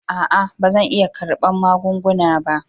A'a ba zan iya karɓa magunguna ba.